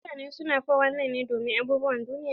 Mutane su na 419 ne domin abubuwan duniya.